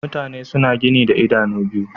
Mutane suna gani da idanu biyu